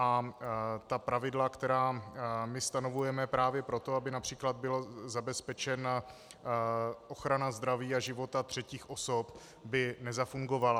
A ta pravidla, která my stanovujeme právě proto, aby například byla zabezpečena ochrana zdraví a života třetích osob, by nezafungovala.